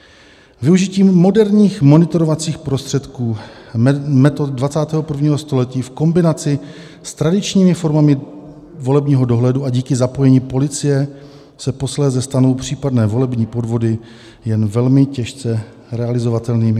Využitím moderních monitorovacích prostředků metod 21. století v kombinaci s tradičními formami volebního dohledu a díky zapojení policie se posléze stanou případné volební podvody jen velmi těžce realizovatelnými."